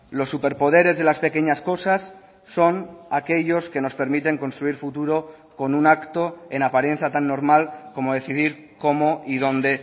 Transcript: los superpoderes de las pequeñas cosas son aquellos que nos permiten construir futuro con un acto en apariencia tan normal como decidir cómo y dónde